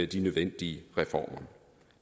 de nødvendige reformer